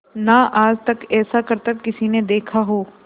ना आज तक ऐसा करतब किसी ने देखा हो